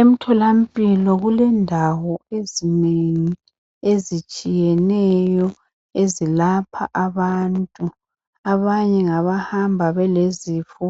emthola mpilo kulendawo ezinengi ezitshiyeneyo ezilapha abantu abanye ngaba hamba belezifo